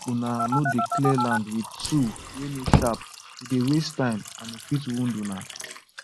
make una no dey clear land with tool wey no sharp e dey waste time and e fit wound una